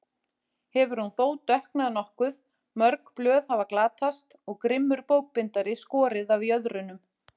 Hefur hún þó dökknað nokkuð, mörg blöð hafa glatast og grimmur bókbindari skorið af jöðrunum.